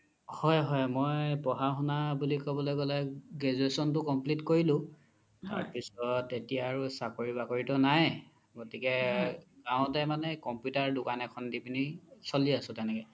হয় হয় মোই পঢ়া শুনা ক্'বলৈ গ্'লে graduation তো complete কৰিলো তাৰ পিছত এতিয়া চাকৰি বাকৰিতো নাই গ্তিকে মা হ্তে মানে computer দুকান এখন দি পিনি চ্লি আছো তেনেকে